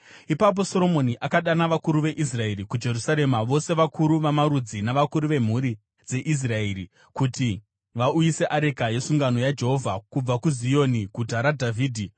Ipapo Soromoni akadana vakuru veIsraeri kuJerusarema, vose vakuru vamarudzi navakuru vemhuri dzeIsraeri, kuti vauyise areka yesungano yaJehovha kubva kuZioni Guta raDhavhidhi.